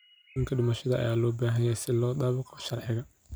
Shahaadooyinka dhimashada ayaa loo baahan yahay si loo dabaqo sharciga.